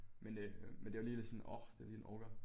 Men øh men det var lige sådan lidt åh det liige en orker